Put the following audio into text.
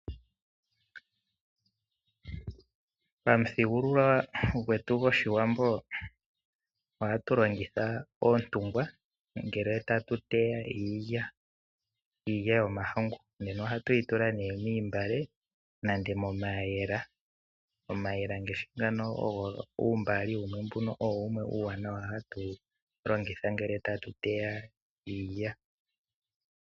Pamuthigululwakalo gwetu gwoshiwambo ohatu longitha oontungwa ngele tatu teya iilya, iilya yomahangu nena ohatu yi tula moontungwa, nenge momayemele. Omayemele ngashi ngano uumbali owo wumwe uuwanawa hatu longitha ngele tatu teya iilya.